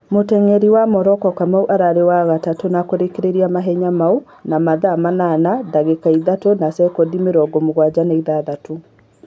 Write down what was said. Mũteng'eri wa Moroko Kamau ararĩ wa gatatũ na kũrĩkia mahenya mau na mathaa manana na ngakĩka ithatũ na sekondi mĩrongo mũgwanja na ithathatũ